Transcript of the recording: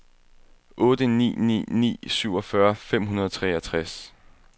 otte ni ni ni syvogfyrre fem hundrede og treogtres